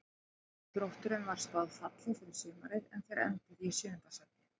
Þrótturum var spáð falli fyrir sumarið en þeir enduðu í sjöunda sæti.